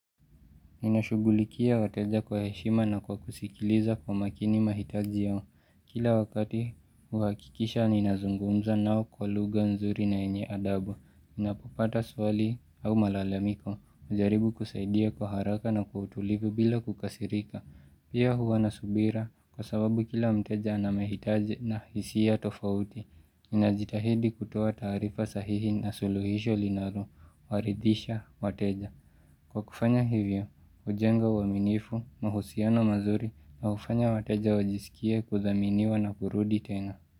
Ninashugulikia wateja kwa heshima na kwa kusikiliza kwa makini mahitaji yao. Kila wakati huakikisha ninazungumza nao kwa luga nzuri na yenye adabu. Ninapopata swali au malalamiko. Hujaribu kusaidia kwa haraka na kwa utulivu bila kukasirika. Pia huwa nasubira kwa sababu kila mteja anamahitaji na hisia tofauti. Ninajitahidi kutoa taarifa sahihi na suluhisho linalo Waridhisha wateja. Kwa kufanya hivyo, hujenga uaminifu, mahusiano mazuri na hufanya wateja wajisikie kuthaminiwa na kurudi tena.